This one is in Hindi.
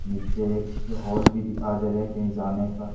नीचे एक हाल भी दिखा दे रहे कहीं जाने का--